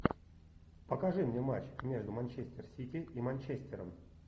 покажи мне матч между манчестер сити и манчестером